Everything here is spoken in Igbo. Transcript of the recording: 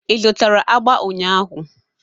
Ị zụtara agba ụnyahụ?